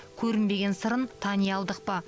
көрінбеген сырын тани алдық па